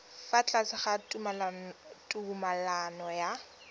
fa tlase ga tumalano ya